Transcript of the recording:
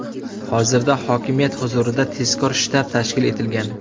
Hozirda hokimiyat huzurida tezkor shtab tashkil etilgan.